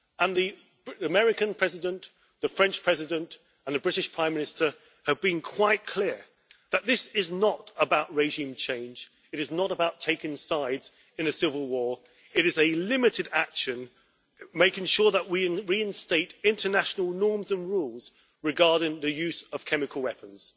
The American President, the French President and the British Prime Minister have been quite clear that this is not about regime change. It is not about taking sides in a civil war. It is a limited action making sure that we reinstate international norms and rules regarding the use of chemical weapons.